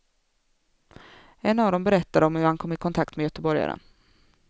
En av dem berättar om hur han kom i kontakt med göteborgaren.